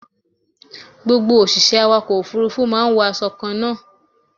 Gbogbo òṣìṣẹ́ awàkọ̀ òfúrúfú máa ń wo aṣọ kan náà.